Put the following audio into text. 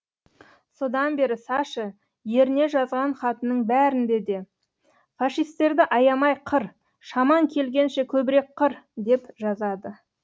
содан бері саша еріне жазған хатының бәрінде де фашистерді аямай қыр шамаң келгенше көбірек қыр деп жазады